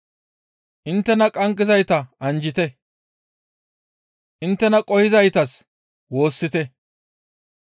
inttena qanggizayta anjjite; inttena qohizaytas woossite;